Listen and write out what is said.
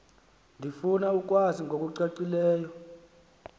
ndifuna ukwazi ngokucacileyo